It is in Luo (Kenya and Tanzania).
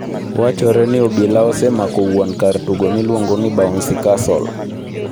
Wachore ni obilaosemako wuon kar tugo miluongo bouncy castle